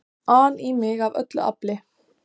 an í mig af öllu afli.